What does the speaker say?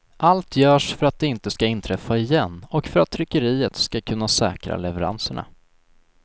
Allt görs för att det inte ska inträffa igen och för att tryckeriet ska kunna säkra leveranserna.